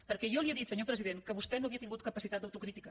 perquè jo li he dit senyor president que vostè no havia tingut capacitat d’autocrítica